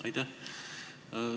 Aitäh!